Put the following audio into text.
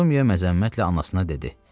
Postumiya məzəmmətlə anasına dedi: